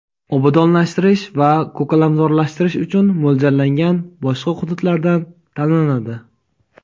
obodonlashtirish va ko‘kalamzorlashtirish uchun mo‘ljallangan boshqa hududlardan tanlanadi.